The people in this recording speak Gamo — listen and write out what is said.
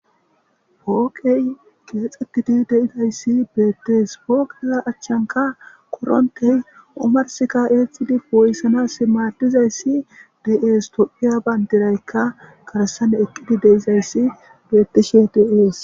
Hooke keexetidi de;izaysi beetes hookiya achchanka korente omarsi kaa'tidi poo'isanas maadizaysi de's toophiya bandirayka kaassan eqidi de'izaysi beetishin de'es.